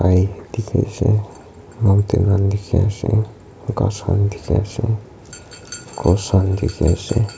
dikhi ase mountain khan dikhi ase ghas khan dikhi ase cross khan dikhi ase.